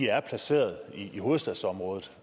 er placeret i hovedstadsområdet